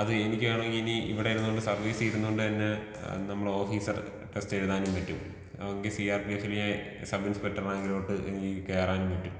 അതും എനിക്കാണെങ്കി ഇനി ഇവടെ ഇരുന്നോണ്ട് സർവ്വീസിലിരുന്നോണ്ടന്നെ ആ ആ നമ്മളെ ഓഫീസർ ടെസ്റ്റെഴുതാനും പറ്റും എനിക്ക് സി ആർ പി എഫ് ല് ഞാന്സബ് ഇൻസ്പെക്ടർ റാങ്കിലോട്ട് എനിക്ക് കേറാനും പറ്റും.